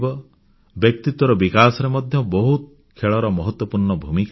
ବ୍ୟକ୍ତିତ୍ୱର ବିକାଶରେ ମଧ୍ୟ ବହୁତ ଖେଳର ମହତ୍ୱପୂର୍ଣ୍ଣ ଭୂମିକା ରହିଛି